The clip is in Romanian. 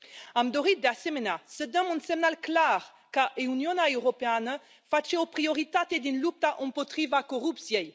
Am dori, de asemenea, să dăm un semnal clar că Uniunea Europeană face o prioritate din lupta împotriva corupției.